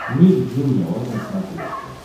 ник джуниор на смотрешке